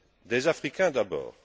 Des Africains, d'abord.